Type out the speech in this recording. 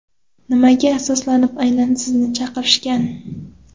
Nimaga asoslanib aynan sizni chaqirishgan?